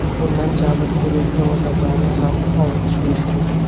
Bundan jabr ko‘rayotgan odamlarni ham ovutish mushkul.